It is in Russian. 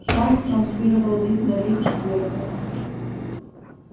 шар транслировал вид на вихрь сверху